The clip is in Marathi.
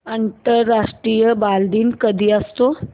आंतरराष्ट्रीय बालदिन कधी असतो